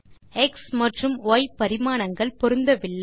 X மற்றும் Y பரிமாணங்கள் பொருந்தவில்லை